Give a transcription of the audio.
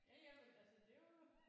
Ja ja men altså det er jo